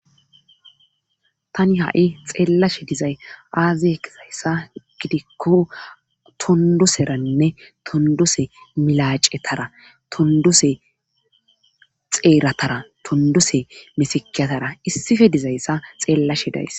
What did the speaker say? tani ha7i xeellashe dizay aaziy ekizayssa gidikko tondoseranne tondose milacetara tondose xeeratara tondose mesicyatara issife dizayssa xeellashe days